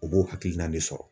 U b'o hakilina de sɔrɔ..